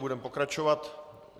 Budeme pokračovat.